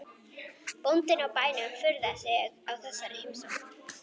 Bóndinn á bænum furðaði sig á þessari heimsókn.